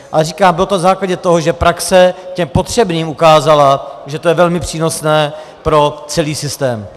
Ale říkám, bylo to na základě toho, že praxe těm potřebným ukázala, že to je velmi přínosné pro celý systém.